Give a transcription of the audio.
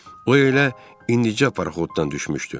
O elə indicə paroxoddan düşmüşdü.